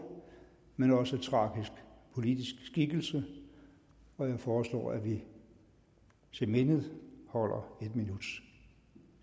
men også tragisk politisk skikkelse og jeg foreslår at vi til minde holder en minuts